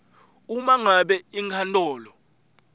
uma ngabe inkantolo